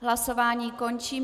Hlasování končím.